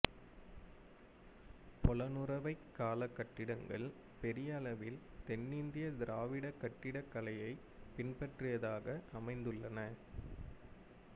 பொலனறுவைக்காலக் கட்டிடங்கள் பெரியளவில் தென்னிந்திய திராவிட கட்டிடக்கலையைப் பின்பற்றியதாக அமைந்துள்ளன